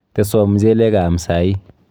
Teswo mchelek aam saii.